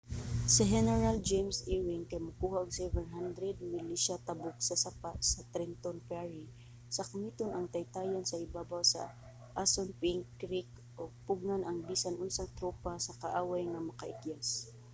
si heneral james ewing kay mokuha og 700 milisya tabok sa sapa sa trenton ferry sakmiton ang taytayan sa ibabaw sa assunpink creek ug pugngan ang bisan unsang tropa sa kaaway nga makaikyas